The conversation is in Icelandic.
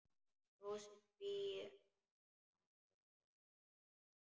Brosið tvírætt á Kristi.